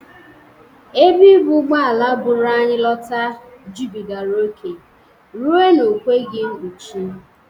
Ebe ibụ ụgbọala bụru anyị lọta jụbịgara oke rue na o kweghi mpuchi.